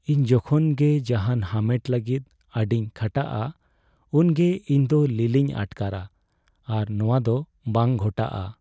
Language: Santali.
ᱤᱧ ᱡᱚᱠᱷᱚᱱ ᱜᱮ ᱡᱟᱦᱟᱱ ᱦᱟᱢᱮᱴ ᱞᱟᱹᱜᱤᱫ ᱟᱹᱰᱤᱧ ᱠᱷᱟᱴᱟᱜᱼᱟ ᱩᱱᱜᱮ ᱤᱧ ᱫᱚ ᱞᱤᱞᱤᱧ ᱟᱴᱠᱟᱨᱟ, ᱟᱨ ᱱᱚᱶᱟ ᱫᱚ ᱵᱟᱝ ᱜᱷᱚᱴᱟᱜᱼᱟ ᱾